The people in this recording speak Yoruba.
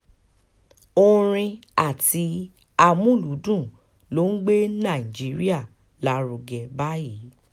orin àti amúlùúdùn ló ń gbé nàìjíríà lárugẹ báyìí